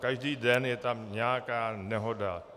Každý den je tam nějaká nehoda.